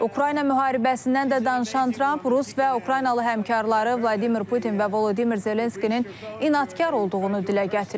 Ukrayna müharibəsindən də danışan Tramp Rusiya və Ukraynalı həmkarları Vladimir Putin və Volodimir Zelenskinin inadkar olduğunu dilə gətirib.